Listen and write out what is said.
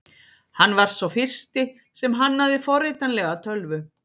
Hann var sá fyrsti sem hannaði forritanlega tölvu.